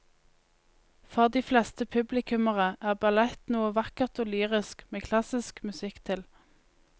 For de fleste publikummere er ballett noe vakkert og lyrisk med klassisk musikk til.